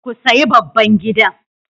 Ku sayi babban gidan.